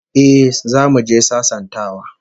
Eh, zamu je sasantawa